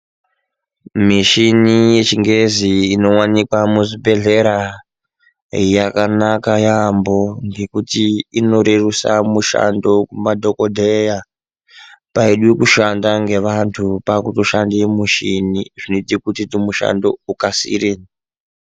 Mishini yechingezi inowanikwa muzvibhedhlera yakanaka yampho ngokuti inorerusa mushando kumadhokodheya ngokuti paidiwa kushanda ngevantu pakutoshande mushini zvinoita kuti mushando ukasire.